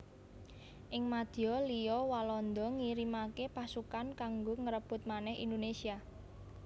Ing madya liya Walanda ngirimaké pasukan kanggo ngrebut manèh Indonésia